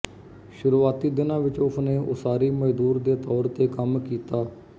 ਸ਼ੁਰੂਆਤੀ ਦਿਨਾਂ ਵਿੱਚ ਉਸ ਨੇ ਉਸਾਰੀ ਮਜ਼ਦੂਰ ਦੇ ਤੌਰ ਤੇ ਕੰਮ ਕੀਤਾ